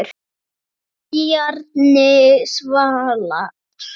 Elsku Bjarni Salvar.